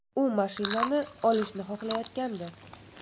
U mashinani olishni xohlayotgandi.